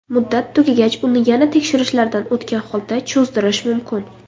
Muddat tugagach uni yana tekshirishlardan o‘tgan holda cho‘zdirish mumkin”.